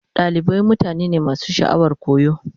Dalibai mutane ne masu sha'awar koyo.